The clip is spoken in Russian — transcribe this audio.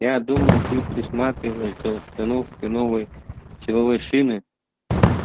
я думал ты присматриваешь за установкой новой силовой шины